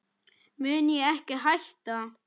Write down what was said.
mun ég ekki hætta?